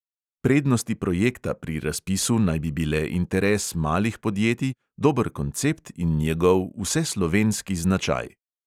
Prednosti projekta pri razpisu naj bi bile interes malih podjetij, dober koncept in njegov "vseslovenski značaj".